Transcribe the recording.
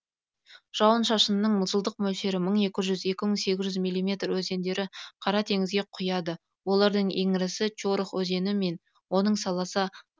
жауын шашынның жылдық мөлшері мың екі жүз екі мың сегіз жүз миллиметр өзендері қара теңізге құяды олардың ең ірісі чорох өзені мен оның саласы